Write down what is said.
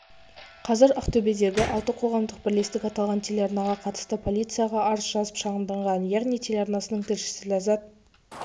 қазір ақтөбедегі алты қоғамдық бірлестік аталған телеарнаға қатысты полицияға арыз жазып шағымданған яғни телеарнасының тілшісі ләззат